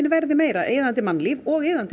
verði meira iðandi mannlíf og iðandi